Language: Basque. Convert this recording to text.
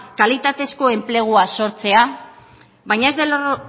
kalitatezko enplegua sortzea baina